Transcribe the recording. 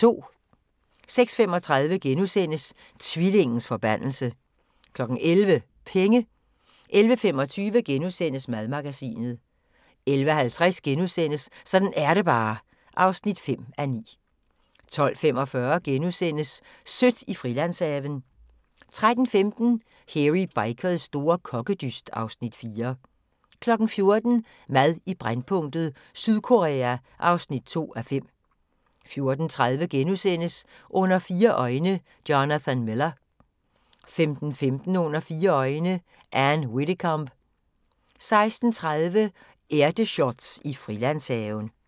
06:35: Tvillingens forbandelse * 11:00: Penge 11:25: Madmagasinet * 11:50: Sådan er det bare (5:9)* 12:45: Sødt i Frilandshaven * 13:15: Hairy Bikers store kokkedyst (Afs. 4) 14:00: Mad i brændpunktet: Sydkorea (2:5) 14:30: Under fire øjne – Jonathan Miller * 15:15: Under fire øjne - Ann Widdecombe 16:30: Ærteshots i Frilandshaven